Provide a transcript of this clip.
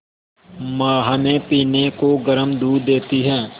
माँ हमें पीने को गर्म दूध देती हैं